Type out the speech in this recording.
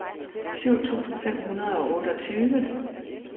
syv tusind fem hundrede og otteogtyve